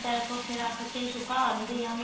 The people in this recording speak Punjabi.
type ਉੱਥੇ ਰੱਖ ਕੇ ਸੁਕਾਂਦੇ ਆ